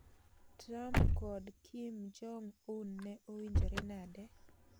Trump kod Kim Jong-un ne owinjore nade?